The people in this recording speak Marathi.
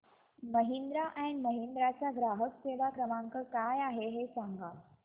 महिंद्रा अँड महिंद्रा चा ग्राहक सेवा क्रमांक काय आहे हे सांगा